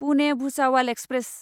Pune Bhusawal express